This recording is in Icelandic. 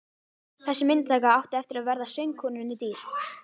Þessi myndataka átti eftir að verða söngkonunni dýr.